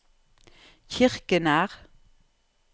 Kirkenær